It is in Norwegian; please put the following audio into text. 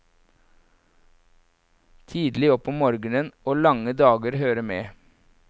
Tidlig opp om morgenen og lange dager hører med.